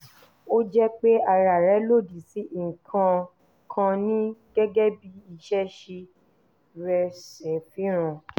ó jẹ́ pé ara rẹ lòdì sí nǹkan kan ni gẹ́gẹ́ bí ìṣesí rẹ̀ ṣe fihàn